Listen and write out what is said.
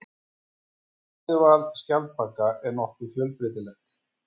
Fæðuval skjaldbaka er nokkuð fjölbreytilegt.